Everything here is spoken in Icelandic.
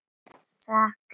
Sakna þín.